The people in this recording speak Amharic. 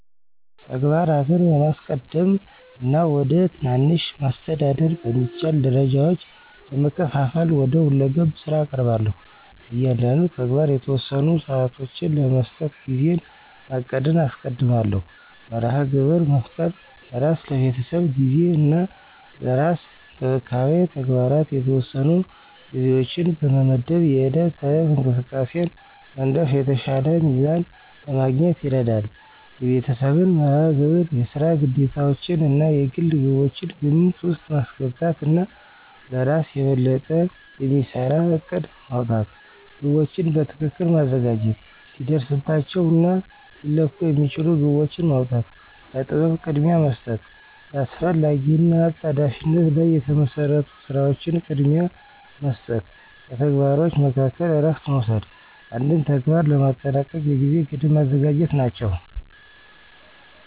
ተግባራትን በማስቀደም እና ወደ ትናንሽ፣ ማስተዳደር በሚቻል ደረጃዎች በመከፋፈል ወደ ሁለገብ ስራ እቀርባለሁ። ለእያንዳንዱ ተግባር የተወሰኑ ሰዓቶችን ለመስጠት ጊዜን ማቀድን አስቀድማለሁ። መርሃ ግብር መፍጠር፣ ለስራ፣ ለቤተሰብ ጊዜ እና ለራስ እንክብካቤ ተግባራት የተወሰኑ ጊዜዎችን በመመድብ የዕለት ተዕለት እንቅስቃሴን መንደፍ የተሻለ ሚዛን ለማግኘት ይረዳል። የቤተሰብን መርሃ ግብር፣ የስራ ግዴታዎችዎን እና የግል ግቦችን ግምት ውስጥ ማስገባት እና ለእራስ የበለጠ የሚሰራ እቅድ ማውጣት። ግቦችን በትክክል ማዘጋጀት፣ ሊደረስባቸው እና ሊለኩ የሚችሉ ግቦችን ማውጣ፣ ለጥበብ ቅድሚያ መስጠት፣ በአስፈላጊ እና አጣዳፊነት ላይ የተመሰረቱ ስራዎችን ቅድሚያ መስጠት፣ በተግባሮች መካከል እረፍት መውሰድ፣ አንድን ተግባር ለማጠናቀቅ የጊዜ ገደብ ማዘጋጀት ናቸው።